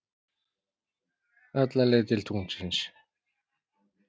Alla leið til tunglsins.